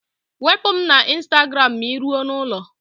Wepụ m na ịnstagram maa ị rue n'ụlọ!